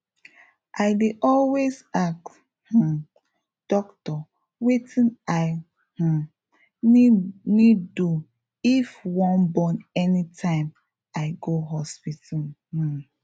i dey always ask um doctor wetin i um need do if wan born anytime i go hospital um